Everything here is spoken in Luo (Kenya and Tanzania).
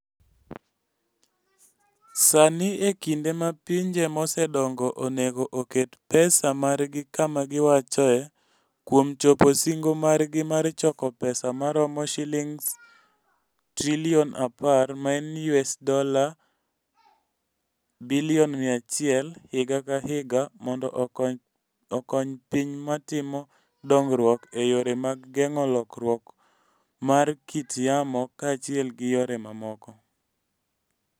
Sani e kinde ma pinje mosedongo onego oket pesa margi kama giwachoe, kuom chopo singo margi mar choko pesa maromo Sh10 trillion (US$ 100 billion) higa ka higa, mondo okony piny matimo dongruok e yore mag geng'o lokruok mar kit yamo kaachiel gi yore mamoko.